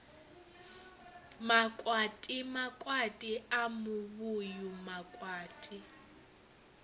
makwati makwati a muvhuyu makwati